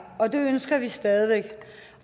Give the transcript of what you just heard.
og det ønsker vi stadig væk